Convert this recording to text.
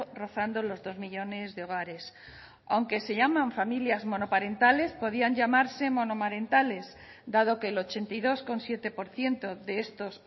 rozando los dos millónes de hogares aunque se llaman familias monoparentales podían llamarse monomarentales dado que el ochenta y dos coma siete por ciento de estos